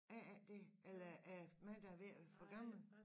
Er det ikke dét eller er det mig der er ved at være for gammel